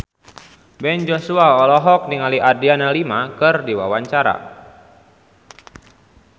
Ben Joshua olohok ningali Adriana Lima keur diwawancara